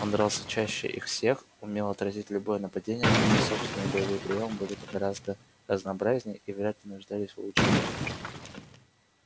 он дрался чаще их всех умел отразить любое нападение а его собственные боевые приёмы были бы гораздо разнообразнее и вряд ли нуждались в улучшении